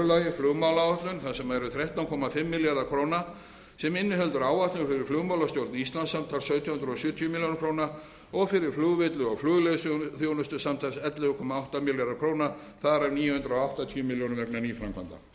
flugmálaáætlun þar sem eru þrettán fimm milljarðar króna sem inniheldur áætlun fyrir flugmálastjórn íslands samtals sautján hundruð sjötíu milljónum króna og fyrir flugvelli og flugleiðsöguþjónustu samtals ellefu þúsund átta hundruð og sjö milljónir þar af níu hundruð áttatíu milljónir króna vegna nýframkvæmda þriðja